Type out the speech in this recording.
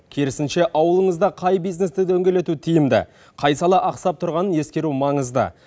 керісінше ауылыңызда қай бизнесті дөңгелету тиімді қай сала ақсап тұрғанын ескеру маңызды